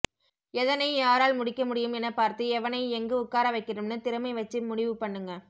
எதனை யாரால் முடிக்க முடியும் என பார்த்து எவனை எங்க உக்கார வெக்கணும்னு திறமை வெச்சு முடிவு பண்ணுங்க